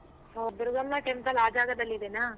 ಹೋ ದುರ್ಗಮ್ಮ temple ಆ ಜಾಗದಲ್ಲಿದೇನಾ?